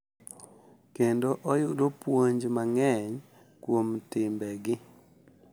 Kendo oyudo puonj mang’eny kuom timbegi.